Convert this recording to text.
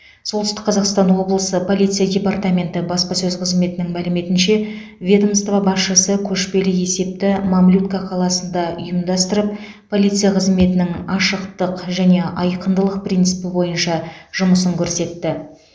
солтүстік қазақстан облысы полиция департаменті баспасөз қызметінің мәліметінше ведомство басшысы көшпелі есепті мамлютка қаласында ұйымдастырып полиция қызметінің ашықтық және айқындылық принципі бойынша жұмысын көрсетті